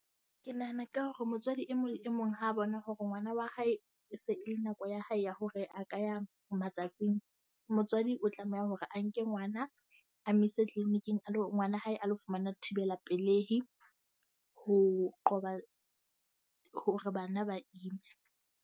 Ke nahana ka hore motswadi e mong e mong ha bona hore ngwana wa hae e se e le nako ya hae ya hore a ka ya matsatsing, motswadi o tlameha hore a nke ngwana a mo ise clinic-ng. A lo ngwana hae a ilo fumana thibelapelehi ho qoba hore bana ba ime.